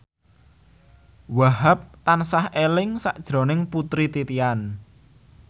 Wahhab tansah eling sakjroning Putri Titian